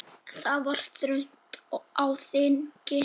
Það var þröng á þingi.